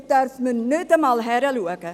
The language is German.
Dort darf man nicht einmal hinschauen.